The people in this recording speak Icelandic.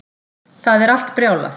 Það er allt brjálað